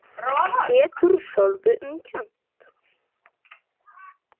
Getur sjálfri sér um kennt.